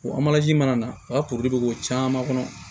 O mana na u ka bɛ k'o caman kɔnɔ